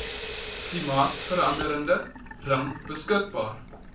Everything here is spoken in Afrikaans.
klimaatsverande ring beskadig